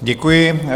Děkuji.